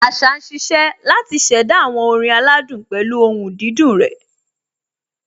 Àṣá ń ṣiṣẹ́ láti ṣẹ̀dá àwọn orin aládùn pẹ̀lú ohùn dídùn rẹ̀.